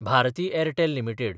Bharati Airtel limited